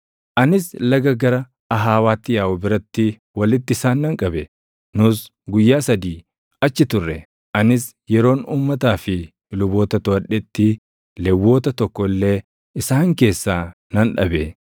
Anis laga gara Ahawaatti yaaʼu biratti walitti isaan nan qabe; nus guyyaa sadii achi turre. Anis yeroon uummataa fi luboota toʼadhetti Lewwota tokko illee isaan keessaa nan dhabe.